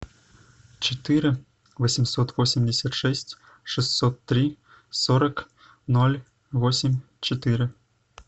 четыре восемьсот восемьдесят шесть шестьсот три сорок ноль восемь четыре